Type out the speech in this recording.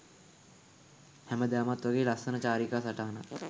හැමදාමත් වගේ ලස්සන චාරිකා සටහනක්